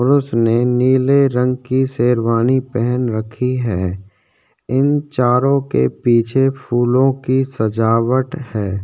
और उसने नीले रंग की शेरवानी पहन रखी है इन चारों के पीछे फूलों की सजावट है।